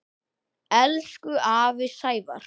Elsku afi Sævar.